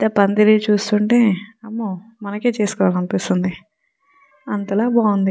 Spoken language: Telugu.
ఇక్కడ పంధిరి చూస్తుంటే అమో మనకు చేసోకోవాలి అనిపెస్తునది అంతల బాగునది .